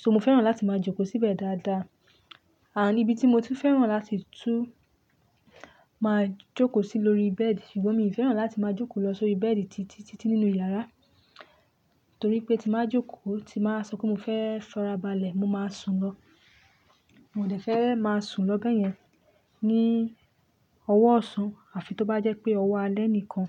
So mo fẹ́ràn láti máa jókòó síbẹ̀ dáadáa. Àní ibi tí mo ti fẹ́ràn láti tú máa jókòó sí lórí bẹ́ẹ̀dì, ṣùgbọ́n mi ò fẹ́ràn láti máa jókòó lọ sórí bẹ́ẹ̀dì títítítí nínú yàrá, torí pé tí máa jókòó, tí máa sọ pé mo fẹ́ sọ́ra balẹ̀, mo máa sùn lọ. Mo dẹ̀ fẹ́ máa sùn lọ bẹ́yẹn ní ọwọ́ ọ̀ṣán, àfi tó bá jẹ́ pé ọwọ́ alẹ́ nìkan.